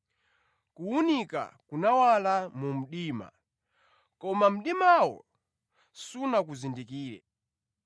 Kuwunika kunawala mu mdima, koma mdimawo sunakuzindikire.